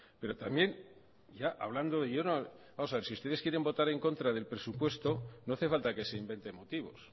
si ustedes quieren votar en contra del presupuesto no hace falta que se inventen motivos